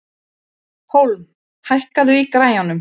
Hólm, hækkaðu í græjunum.